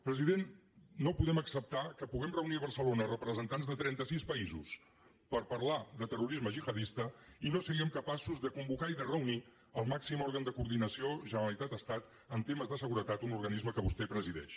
president no podem acceptar que puguem reunir a barcelona representants de trenta sis països per parlar de terrorisme gihadista i no siguem capaços de convocar i de reunir el màxim òrgan de coordinació generalitat estat en temes de seguretat un organisme que vostè presideix